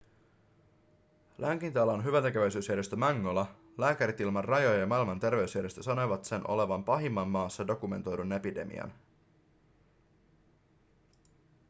lääkintäalan hyväntekeväisyysjärjestö mangola lääkärit ilman rajoja ja maailman terveysjärjestö sanovat sen olevan pahimman maassa dokumentoidun epidemian